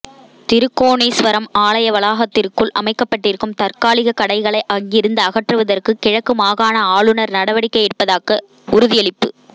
திருக்கோணேஸ்வரம் ஆலய வளாகத்திற்குள் அமைக்கப்பட்டிருக்கும் தற்காலிக கடைகளை அங்கிருந்து அகற்றுவதற்கு கிழக்கு மாகாண ஆளுநர் நடவடிக்கை எடுப்பதாக உறுதியளிப்பு